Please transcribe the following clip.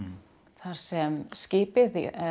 þar sem skipið